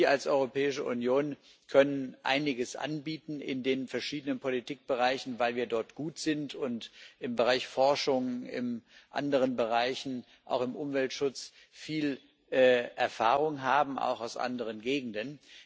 Wir als Europäische Union können in den verschiedenen Politikbereichen einiges anbieten, weil wir dort gut sind, und im Bereich Forschung und in anderen Bereichen auch im Umweltschutz viel Erfahrung haben, auch aus anderen Gegenden.